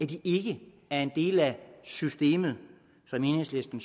de ikke er en del af systemet som enhedslisten